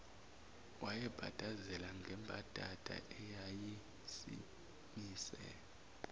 wayebhadazela ngembadada eyayisimise